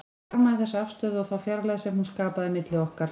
Ég harmaði þessa afstöðu og þá fjarlægð sem hún skapaði milli okkar.